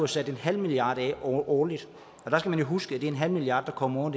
sat en halv milliard af årligt og der skal man jo huske at det er en halv milliard der kommer